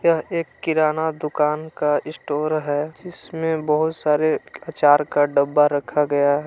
एक किराना दुकान का इस्टोर है। जिसमें बहुत सारे अचार का डब्बा रखा गया है।